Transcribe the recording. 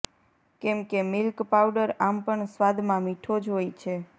કેમકે milk powder આમ પણ સ્વાદમાં મીઠો જ હોય છે